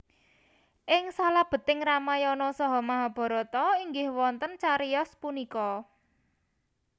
Ing salebeting Ramayana saha Mahabharata inggih wonten cariyos punika